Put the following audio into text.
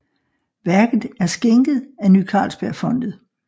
Værket er skænket af Ny Carlsbergfondet